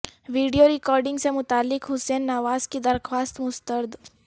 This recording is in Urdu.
ویڈیو ریکارڈنگ سے متعلق حسین نواز کی درخواست مسترد